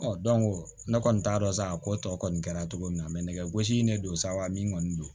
ne kɔni t'a dɔn sa a ko tɔ kɔni kɛra cogo min na nɛgɛ gosi in ne don sa min kɔni don